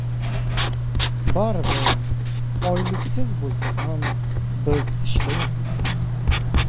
Baribir, oyliksiz bo‘lsa ham biz ishlayapmiz.